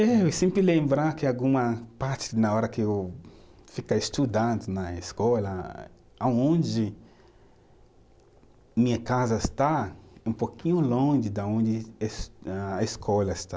Eu sempre que alguma parte na hora que eu ficar estudando na escola, aonde minha casa está, é um pouquinho longe da onde es, a escola está.